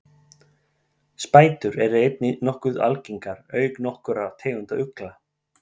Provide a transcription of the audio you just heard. spætur eru einnig nokkuð algengar auk nokkurra tegunda ugla